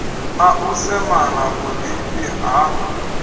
a u semana vhurifhi ha